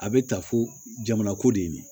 A bɛ ta fo jamana ko de